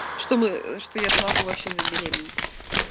чтобы что я смогу вообще забеременеть